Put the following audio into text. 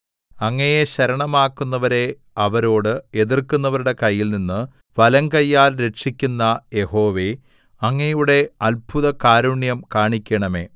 അങ്ങയെ ശരണമാക്കുന്നവരെ അവരോട് എതിർക്കുന്നവരുടെ കയ്യിൽനിന്ന് വലങ്കയ്യാൽ രക്ഷിക്കുന്ന യഹോവേ അങ്ങയുടെ അത്ഭുതകാരുണ്യം കാണിക്കണമേ